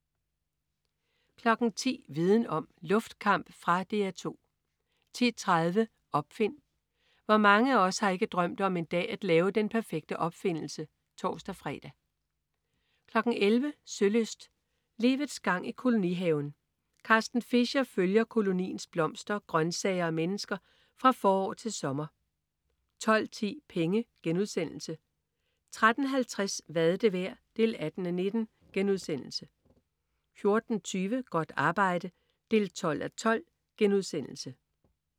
10.00 Viden om: Luftkamp. Fra DR 2 10.30 Opfind. Hvor mange af os har ikke drømt om en dag at lave den perfekte opfindelse? (tors-fre) 11.00 Sølyst: Livets gang i kolonihaven. Carsten Fischer følger koloniens blomster, grøntsager og mennesker fra forår til sommer 12.10 Penge* 13.50 Hvad er det værd? 18:19* 14.20 Godt arbejde 12:12*